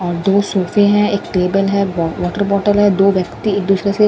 और दो सोफे हैं एक टेबल है ब वाटर बोतल है दो व्यक्ति दूसरे से --